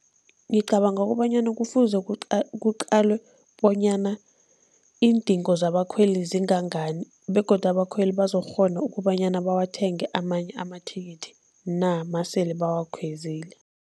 Ngicabanga kobanyana kufuze kuqalwe bonyana iindingo zabakhweli zingangani begodu abakhweli bazokukghona ukobanyana bawathenge amanye amathikithi na, nasele bawakhwezile.